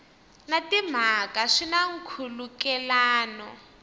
na timhaka swi na nkhulukelano